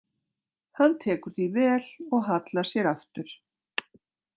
Hann tekur því vel og hallar sér aftur.